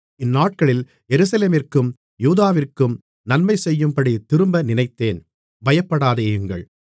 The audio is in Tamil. இந்நாட்களில் எருசலேமிற்கும் யூதாவிற்கும் நன்மைசெய்யும்படித் திரும்ப நினைத்தேன் பயப்படாதேயுங்கள்